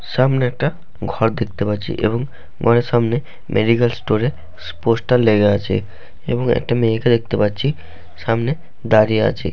সামনে একটা ঘর দেখতে পাচ্ছি এবং ঘরের সামনে মেডিক্যাল স্টোর -এ পোস্টার লেগে আছে এবং একটা মেয়েকে দেখতে পাচ্ছি সামনে দাড়িয়ে আছে।